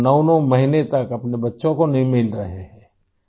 آپ 99 مہینوں تک اپنے بچوں سے نہیں مل رہےہیں